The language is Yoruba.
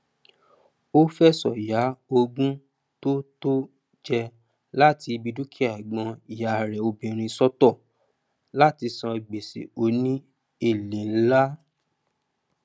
ó fẹsọ ya ogún tó tó jẹ láti ibi dúkìá ẹgbọn ìyá rẹ obìnrin sọtọ látí san gbèsè òní èlé nlá